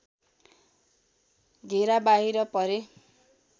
घेरा बाहिर परे